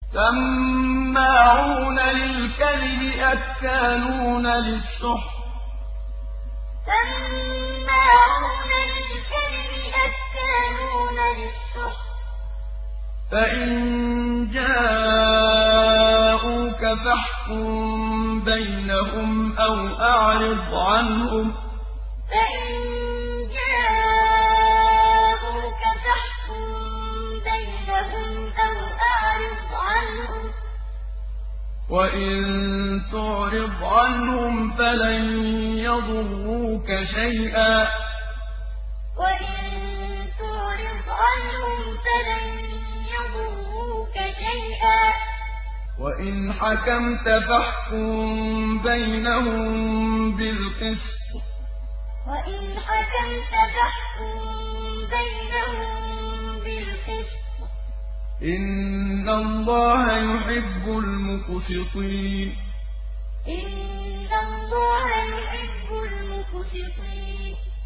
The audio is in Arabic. سَمَّاعُونَ لِلْكَذِبِ أَكَّالُونَ لِلسُّحْتِ ۚ فَإِن جَاءُوكَ فَاحْكُم بَيْنَهُمْ أَوْ أَعْرِضْ عَنْهُمْ ۖ وَإِن تُعْرِضْ عَنْهُمْ فَلَن يَضُرُّوكَ شَيْئًا ۖ وَإِنْ حَكَمْتَ فَاحْكُم بَيْنَهُم بِالْقِسْطِ ۚ إِنَّ اللَّهَ يُحِبُّ الْمُقْسِطِينَ سَمَّاعُونَ لِلْكَذِبِ أَكَّالُونَ لِلسُّحْتِ ۚ فَإِن جَاءُوكَ فَاحْكُم بَيْنَهُمْ أَوْ أَعْرِضْ عَنْهُمْ ۖ وَإِن تُعْرِضْ عَنْهُمْ فَلَن يَضُرُّوكَ شَيْئًا ۖ وَإِنْ حَكَمْتَ فَاحْكُم بَيْنَهُم بِالْقِسْطِ ۚ إِنَّ اللَّهَ يُحِبُّ الْمُقْسِطِينَ